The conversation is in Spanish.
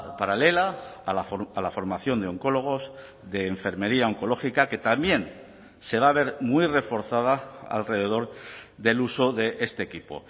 paralela a la formación de oncólogos de enfermería oncológica que también se va a ver muy reforzada alrededor del uso de este equipo